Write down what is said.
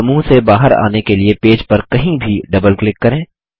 समूह से बाहर आने के लिए पेज पर कहीं भी डबल क्लिक करें